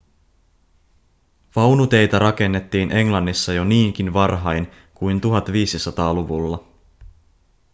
vaunuteitä rakennettiin englannissa jo niinkin varhain kuin 1500-luvulla